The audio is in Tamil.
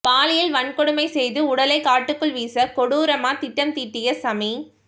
பாலியல் வன்கொடுமை செய்து உடலை காட்டுக்குள் வீச கொடூரமா திட்டம் தீட்டிய ஷமி